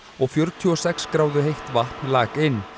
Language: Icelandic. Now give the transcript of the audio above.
og fjörutíu og sex gráðu heitt vatn lak inn